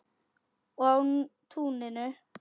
Og á túninu.